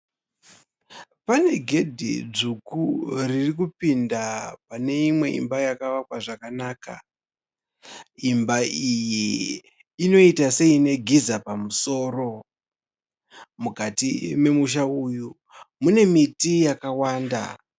Pane gedhe dzvuku riri kupinda pane imwe imba yakavakwa zvakanaka, imba iyi inoiita seine giza pamusoro, mukati memusha uyu mune miti yakawanda.